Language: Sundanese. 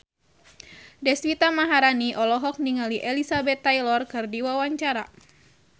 Deswita Maharani olohok ningali Elizabeth Taylor keur diwawancara